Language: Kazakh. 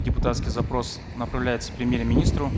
депутатский запрос направляется премьер министру